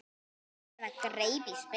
Eða greip í spil.